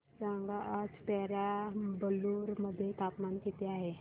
सांगा आज पेराम्बलुर मध्ये तापमान किती आहे